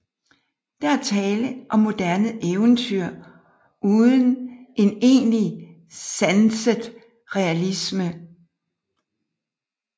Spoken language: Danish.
Der er tale om moderne eventyr uden en egentlig sanset realisme